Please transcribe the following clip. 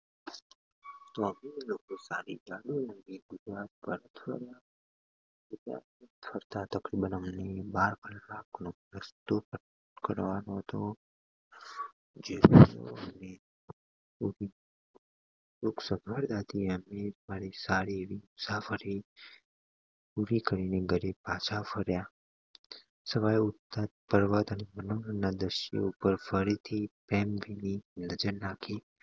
એક સગવડ રાખી એમને મારી સવારી પૂરી કરી ને ઘરે પાછા ફર્યા સવારે ઉત્થા જ દ્રશ્યો પર ફરીથી પ્રેમભીની નજર નાખી